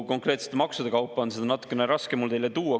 Konkreetsete maksude kaupa on seda natukene raske mul teieni tuua.